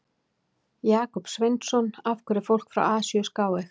Jakob Sveinsson: Af hverju er fólk frá Asíu skáeygt?